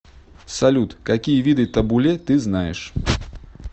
салют какие виды табуле ты знаешь